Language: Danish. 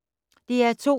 DR2